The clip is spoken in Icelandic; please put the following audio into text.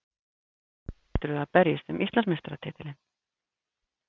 Hvaða lið heldurðu að berjist um Íslandsmeistaratitilinn?